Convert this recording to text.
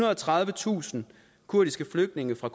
og tredivetusind kurdiske flygtninge fra